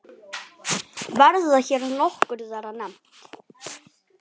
Verða hér nokkur þeirra nefnd.